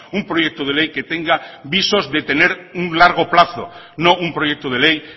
un proyecto de ley que tenga visos de tener un largo plazo no un proyecto de ley